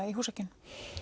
í húsakynnum